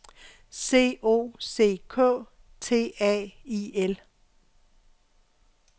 C O C K T A I L